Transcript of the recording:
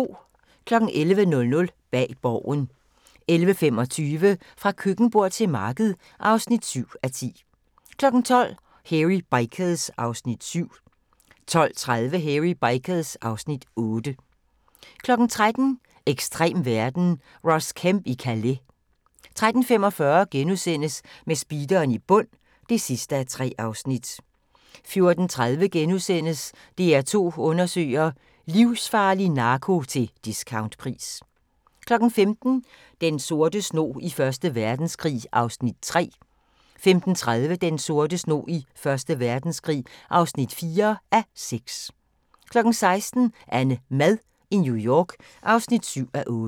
11:00: Bag Borgen 11:25: Fra køkkenbord til marked (7:10) 12:00: Hairy Bikers (Afs. 7) 12:30: Hairy Bikers (Afs. 8) 13:00: Ekstrem verden – Ross Kemp i Calais 13:45: Med speederen i bund (3:3)* 14:30: DR2 undersøger: Livsfarlig narko til discountpris * 15:00: Den sorte snog i Første Verdenskrig (3:6) 15:30: Den sorte snog i Første Verdenskrig (4:6) 16:00: AnneMad i New York (7:8)